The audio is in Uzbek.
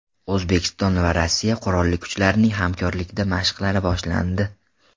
O‘zbekiston va Rossiya qurolli kuchlarining hamkorlikdagi mashqlari boshlandi.